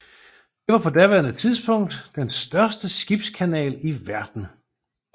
Det var på daværende tidspunkt den største skibskanal i verden